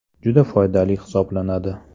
Juda foydali hisoblanadi.